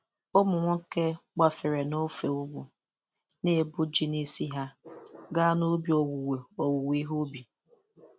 Ụmụ nwoke gbafere n'ofe ugwu, na-ebu ji n'isi ha gaa n'ubi owuwe owuwe ihe ubi.